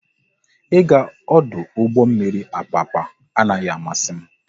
Ị ga ọdụ ụgbọ mmiri Apapa anaghị amasị m